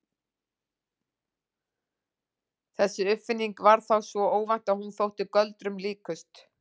Þessi uppfinning var þá svo óvænt að hún þótti göldrum líkust.